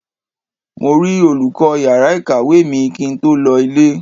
Mo rí olùkọ́ yàrá ìkàwé mi kí n tó lọ ilé.